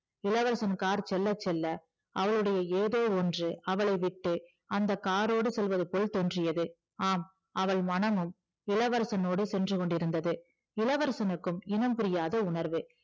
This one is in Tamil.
இளவரசன் கார் செல்ல செல்ல அவளுடைய ஏதோ ஒன்று அவளைவிட்டு அந்த காரோடு செல்வது போல் தோன்றியது ஆம் அவள் மனமும் இளவரசனோடு சென்று கொண்டிருந்தது இளவரசனுக்கும் இனம் புரியாத உணர்வு